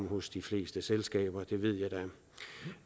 hos de fleste selskaber at det ved